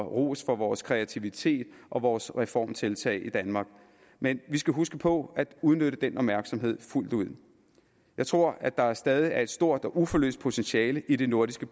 ros for vores kreativitet og vores reformtiltag i danmark men vi skal huske på at udnytte den opmærksomhed fuldt ud jeg tror at der stadig er et stort og uforløst potentiale i det nordiske